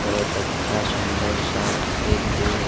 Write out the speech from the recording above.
बहुत अच्छा सुंदर सा एक व्यू है।